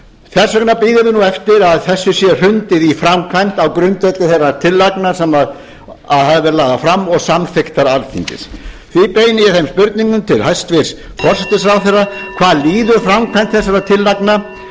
þess vegna bíðum við nú eftir að þessu sé hrundið í framkvæmd á grundvelli þeirra tillagna sem hafa verð lagðar fram og samþykktar alþingis því beini ég þeim spurningum til hæstvirts forsætisráðherra hvað líður framkvæmd þessara tillagna